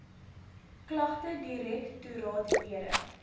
klagtedirek toraat lede